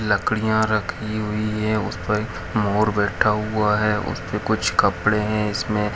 यहाँ कुछ लकड़ियां खड़ी हुई है वहाँ पे मोर बैठा हुआ है उस पे कुछ कपड़े है इसमें --